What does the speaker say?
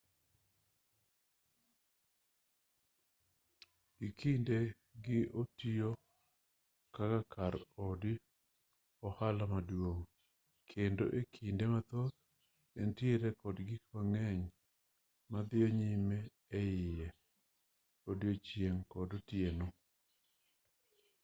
gi e kinde gi otiyo kaka kar od ohala maduong' kendo e kinde mathoth entiere kod gik mang'eny madhiyo nyime eiye e odiechieng' kod otieno